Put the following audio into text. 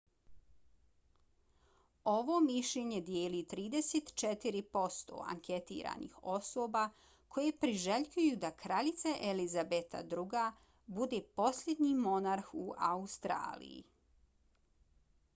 ovo mišljenje dijeli 34 posto anketiranih osoba koje priželjkuju da kraljica elizabeta ii bude posljednji monarh u australiji